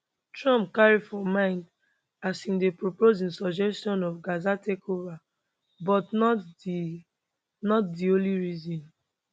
trump carry for mind as im dey propose im suggestion of gaza takeover but not di not di only reason